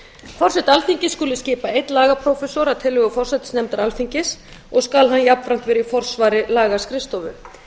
forseti alþingis skuli skipa einn lagaprófessor að tillögu forsætisnefndar alþingis og skal hann jafnframt vera í forsvari lagaskrifstofu